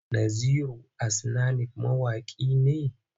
Naziru Asnanik ma mawaƙi ne?